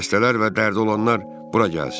Xəstələr və dərdi olanlar bura gəlsin!"